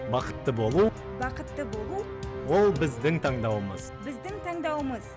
бақытты болу бақытты болу ол біздің таңдауымыз біздің таңдауымыз